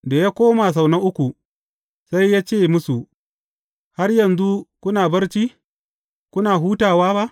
Da ya koma sau na uku, sai ya ce musu, Har yanzu kuna barci, kuna hutawa ba?